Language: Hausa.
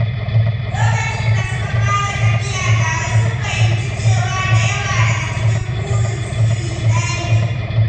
Lokacin da suka fara tafiya tare, sun fahimci cewa da yawa daga cikin burinsu iri ɗaya ne.